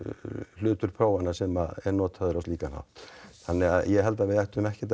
hlutur prófanna sem er notaður á slíkan hátt þannig að ég held að við ættum ekkert